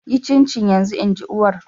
Yi cincin yanzu! In ji uwar.